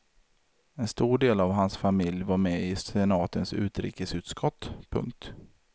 En stor del av hans familj var med i senatens utrikesutskott. punkt